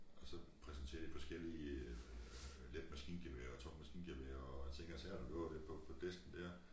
Og så præsenterer de forskellige øh let maskingevær og tungt maskingevær og ting og sager der lå der på på disken dér